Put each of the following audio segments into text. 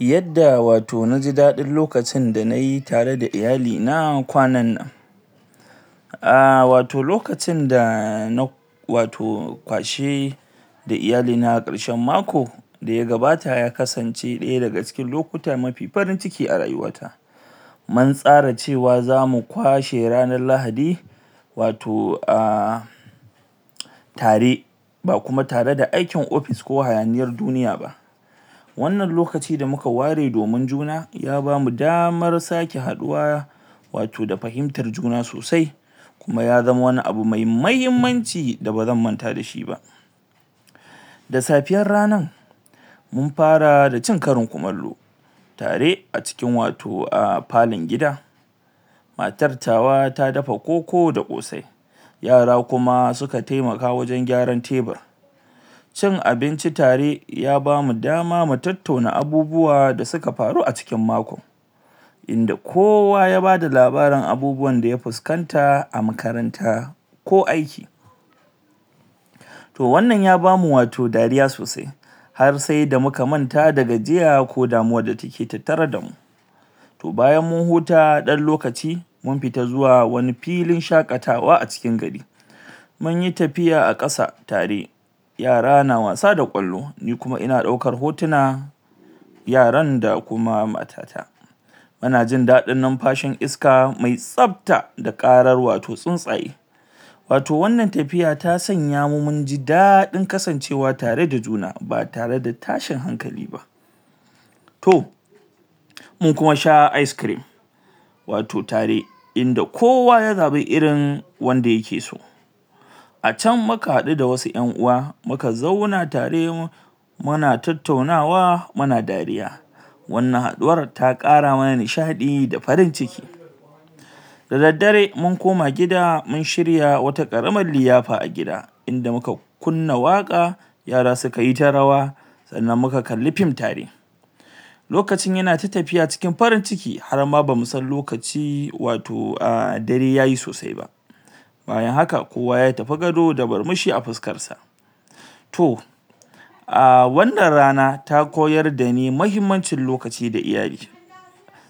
yadda wato naji dadi lokacin da nayi tare da iyalina kwanannan nah wato lokacin da na wato kwashi da iyali na karshen mako daya gabata ya kasance daya daga cikin lokuta mafi farinciki a rayuwata mun tsara cewa zamu kwashe ranar lahadi wato ah tare ba kuma tare da aikin ofis ko hayaniyar duniya ba wannan lokaci da muka ware domin junaya bamu damar sake haduwa wato da fahimtar juna sosai kuma ya zamawani abu me mahimmanci da bazan manta dashi ba da safiyar ranar mun fara da cin karin kumallo tare a cikin ah watofalon gida matar tawa ta dafa koko da kosai yara kuma suka taimaka wajen kyaran tebir cin abinci tare ya bamu dama mu tattauna abubuwa da suka faru a cikin mako inda kowa ya bada labarin abinda ya fuskanta a makaranta ko aiki to wannan ya bamu wato dariya sosai har sai da muka manta da gajiya ko damuwar da take tattare damu to bayan mun huta dan lokaci mun fita zuwa wani pilin shakatawa a cikin gari munyi tafiya a kasa tare yara na wasa da kwallo ni kuma ina daukar hotuna yaran da kuma matata tana jin dadin nimfashin iska mai tsabta da karar wato tsuntsaye wato wannan tafiya ta sanya mu munji dadin kasancewa tare da juna ba tare da tashin hankali ba to mun kuma sha ice cream wato tare inda kowa ya zabi irin wanda yake so a can muka hadu da wasu yan'uwa muka zauna tare muna tattaunawa muna dariya wannan haduwar ta kara mana nishadi da farin ciki da daddare mun koma gida mun shirya wata karamar liyafa a gida inda muka kunna waka yara sukayita rawa sannan muka kalli film tare lokacin yana ta tafiya cikin farin ciki harma bamu san lokaci wato ah dare yayi sosai ba nbayan haka kowa ya tafi gado da murmushi a fuskarsa to ah wannan rana ta koyar dani mahimmancin lokaci da iyali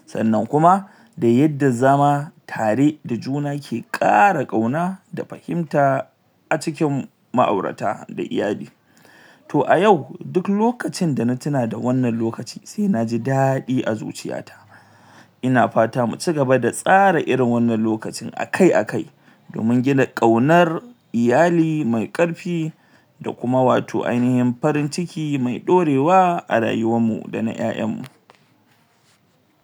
sannan kuma da yadda zama tare da juna ke kara kauna da fahimta a cikin ma aurata da iyali to a yau duk lokacin dana tuna da wannan lokacin saina ji dadi a zuciya ta ina fata mu cigaba da tsara irin wannan lokacin akai akai domin gina kaunar iyali me karfi da kuma wato ainahin farin ciki me dorewa a rayuwar mu dana yayan mu